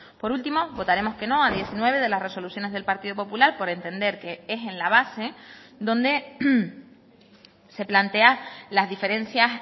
por último votaremos que no a diecinueve de las resoluciones del partido popular por entender que es en la base donde se plantea las diferencias